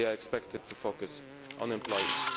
at national levels they are expected